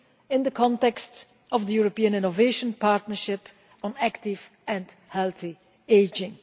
in the context of the European Innovation Partnership on active and healthy ageing.